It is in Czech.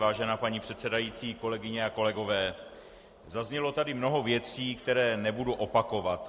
Vážená paní předsedající, kolegyně a kolegové, zaznělo tady mnoho věcí, které nebudu opakovat.